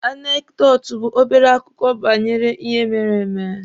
Anekdotu bụ obere akụkọ banyere ihe mere eme.